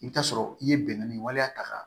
I bɛ taa sɔrɔ i ye bɛnkanni waleya ta